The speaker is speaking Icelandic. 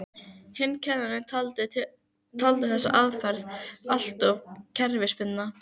Hinn kennarinn taldi þessa aðferð alltof kerfisbundna.